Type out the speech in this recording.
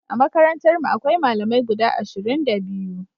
A makarantarmu akwai Malamai guda ashirin da biyu.